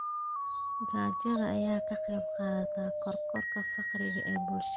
Gaajada ayaa ka qayb qaadata kororka faqriga ee bulshada.